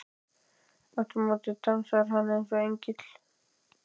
. aftur á móti dansar hann eins og engill.